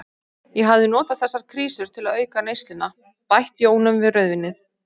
Ég hafði notað þessar krísur til auka neysluna, bætt jónum við rauðvínið.